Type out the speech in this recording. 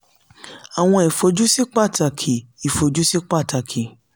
àwọn ìfojúsí pàtàkì ìfojúsí pàtàkì